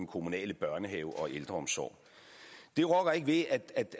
kommunale børnehaver og ældreomsorg det rokker ikke ved